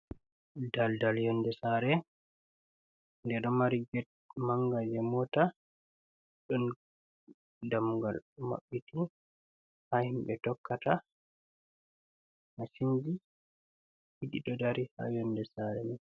Daldal yolnde sare, nde ɗon mari get manga je mota ɗon dammugal mabbiti ha himɓe tokkata, masinji ɗiɗi ɗo dari ha yolnde sare mai.